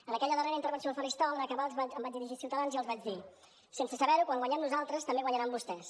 en aquella darrera intervenció al faristol en acabar em vaig dirigir a ciutadans i els vaig dir sense saber ho quan guanyem nosaltres també guanyaran vostès